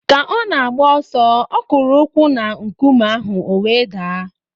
Ka ọ na-agba ọsọ, ọ kụrụ ukwu na nkume ahụ o wee daa